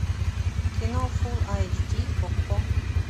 кино фулл айч ди окко